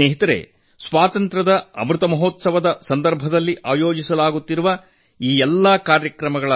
ಮಿತ್ರರೇ ಸ್ವಾತಂತ್ರ್ಯದ ಅಮೃತ ಮಹೋತ್ಸವದಲ್ಲಿ ಆಯೋಜಿಸಲಾಗುತ್ತಿರುವ ಈ ಎಲ್ಲಾ ಕಾರ್ಯಕ್ರಮಗಳ